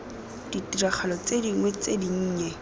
ditiragalo tse dingwe tse dinnye